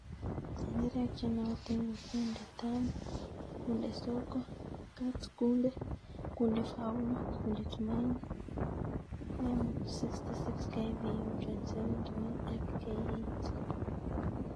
Tenderek chenootin ko :Kunde Tamu, Kunde Soko, Kat-Kunde, Kunde Faulu, Kunde Tumaini, M66, KVU 27-1 ak K80.